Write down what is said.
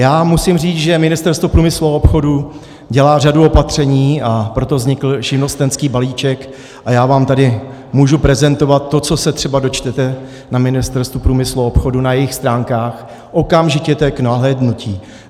Já musím říct, že Ministerstvo průmyslu a obchodu dělá řadu opatření, a proto vznikl živnostenský balíček, a já vám tady můžu prezentovat to, co se třeba dočtete na Ministerstvu průmyslu a obchodu, na jejich stránkách, okamžitě to je k nahlédnutí.